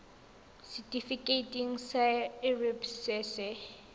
setifikeiting sa irp se se